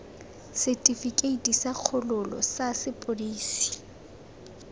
setifikeite sa kgololo sa sepodisi